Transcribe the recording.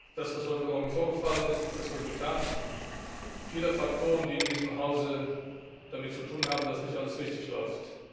Das, was heute Morgen vorgefallen ist, ist das Resultat vieler Faktoren, die in diesem Hause damit zu tun haben, dass nicht alles richtig läuft.